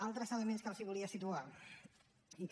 altres elements que els volia situar i que